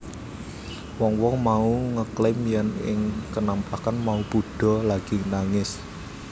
Wong wong mau ngeklaim yèn ing kenampakan mau Buddha lagi nangis